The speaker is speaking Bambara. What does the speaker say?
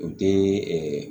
O tɛ ɛɛ